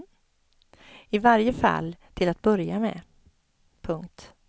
I varje fall till att börja med. punkt